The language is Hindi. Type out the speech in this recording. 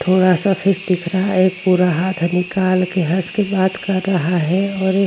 थोड़ा सा फेस दिख रहा है। एक पूरा हाथ निकाल के हंस के बात कर रहा है और एक --